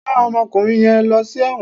Rán ọmọkùnrin yẹn lọ sí ẹ̀wọ̀n.